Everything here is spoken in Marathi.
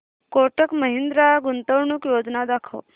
कोटक महिंद्रा गुंतवणूक योजना दाखव